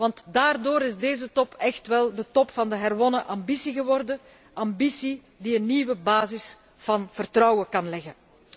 Want daardoor is deze top echt wel de top van de herwonnen ambitie geworden, ambitie die een nieuwe basis van vertrouwen kan leggen.